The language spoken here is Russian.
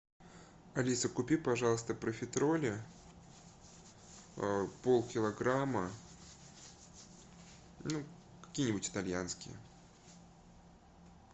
алиса купи пожалуйста профитроли полкилограмма ну какие нибудь итальянские